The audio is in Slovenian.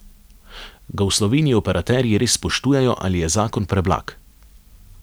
Ga v Sloveniji operaterji res spoštujejo ali je zakon preblag?